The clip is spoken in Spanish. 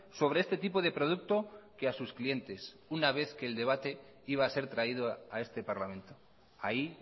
sobre este tipo de producto que a sus clientes una vez que el debate iba a ser traído a este parlamento ahí